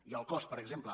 i el cost per exemple